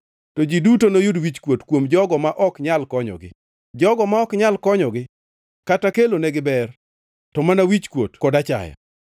to ji duto noyud wichkuot kuom jogo ma ok nyal konyogi, jogo ma ok nyal konyogi kata kelonegi ber to mana wichkuot kod achaya.”